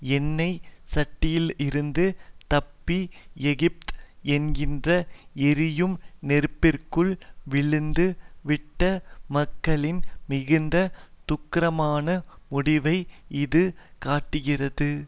எண்ணெய் சட்டியிலிருந்து தப்பி எகிப்து என்கின்ற எரியும் நெருப்பிற்குள் விழுந்து விட்ட மக்களின் மிகுந்த துக்ககரமான முடிவை இது காட்டுகிறது